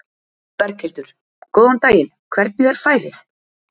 Berghildur: Góðan daginn, hvernig er færið?